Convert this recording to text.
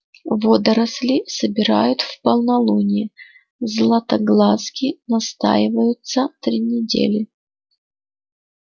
водоросли собирают в полнолуние златоглазки настаиваются три недели